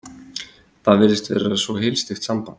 Það virtist vera svo heilsteypt samband.